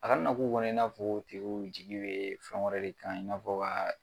A kana na k'u kɔnɔ i n'a fɔ o tigiw jigi bɛ fɛn wɛrɛ de kan i n'afɔ ka